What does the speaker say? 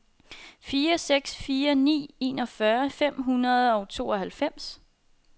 fire seks fire ni enogfyrre fem hundrede og tooghalvfems